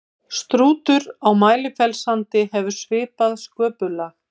strútur á mælifellssandi hefur svipað sköpulag